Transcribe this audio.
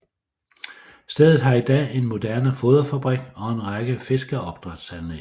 Stedet har i dag en moderne foderfabrik og en række fiskeopdrætsanlæg